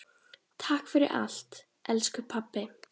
Takk fyrir allt, elsku pabbi.